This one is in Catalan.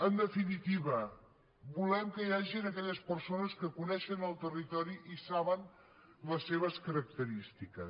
en definitiva volem que hi hagin aquelles persones que coneixen el territori i saben les seves característiques